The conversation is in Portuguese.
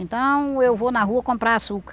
Então eu vou na rua comprar açúcar.